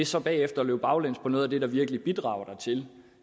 så bagefter løb baglæns på noget af det der virkelig bidrager dertil